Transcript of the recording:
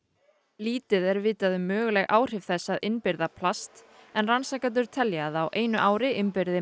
lítið er vitað um möguleg áhrif þess að innbyrða plast en rannsakendur telja að á einu ári innbyrði